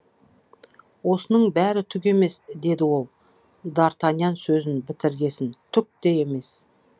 осының бәрі түк емес деді ол д артаньян сөзін бітіргесін түк те емес